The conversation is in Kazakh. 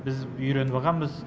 біз үйреніп ағанбыз